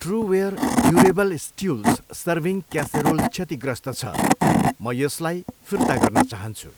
Trueware durable stools serving casserole क्षतिग्रस्त छ, म यसलाई फिर्ता गर्न चाहन्छु।